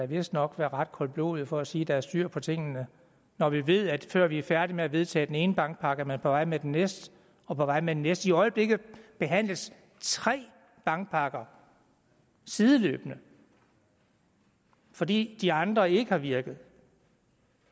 vistnok være ret koldblodig for at sige at der er styr på tingene når vi ved at før vi er færdige med at vedtage den ene bankpakke er man på vej med den næste og på vej med den næste igen i øjeblikket behandles tre bankpakker sideløbende fordi de andre ikke har virket